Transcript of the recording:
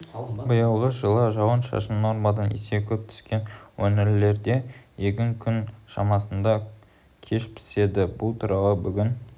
биылғы жылы жауын-шашын нормадан есе көп түскен өңірлерде егін күн шамасында кеш піседі бұл туралы бүгін